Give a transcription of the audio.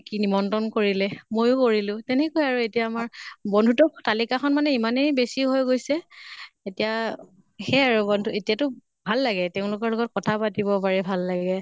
কি নিমন্ত্ৰণ কৰিলে। ময়ো কৰিলোঁ। তেনেকুৱাই আৰু এতিয়া আমাৰ বন্ধুত্ব তালিকা খন ইমানে বেছি হৈ গৈছে এতিয়া সেয়া আৰু বন্ধু । এতিয়াটো ভাল লাগে তেওঁলোকৰ লগত কথা পাতিব পাৰি, ভাল লাগে।